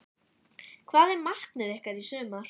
Hvað er markmið ykkar í sumar?